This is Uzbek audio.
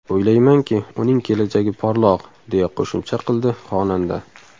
O‘ylaymanki, uning kelajagi porloq”, deya qo‘shimcha qildi xonanda.